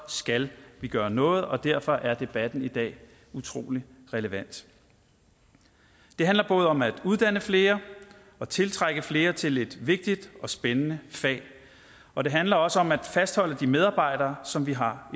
skal vi gøre noget og derfor er debatten i dag utrolig relevant det handler både om at uddanne flere og tiltrække flere til et vigtigt og spændende fag og det handler også om at fastholde de medarbejdere som vi har